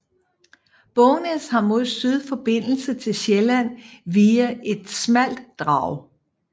Bognæs har mod syd forbindelse til Sjælland via et smalt drag